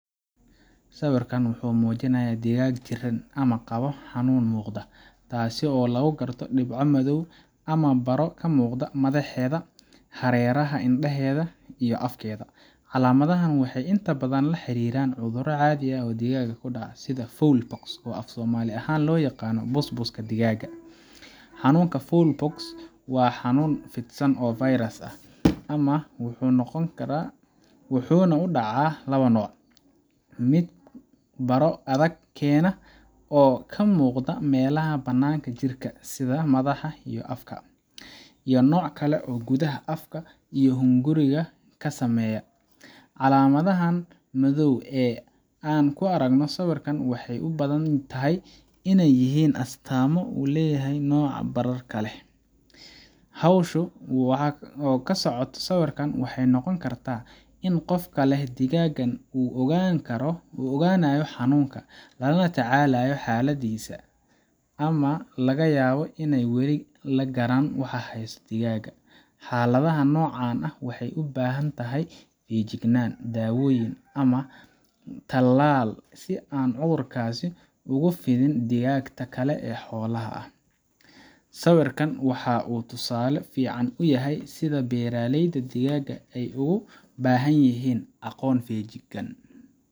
Sawiirkaan wuxuu mujinaaya digaag jiran, taas oo lagu karto xanuun muuqo, sida busbuska, waa xanunn fidsan, mid baro adag keeno iyo nooc kale ee gudaha afka, calamadaha waxeey ubadan tahay astaamo, howsha waxeey noqon kartaa in la ogaado xanuunsan, xakada nocan waxeey ubahan tahay talaal, sawiirkaan waxaa uu tusale uyahay sida beeraleyda aay ugu bahan yihiin aqoon fican.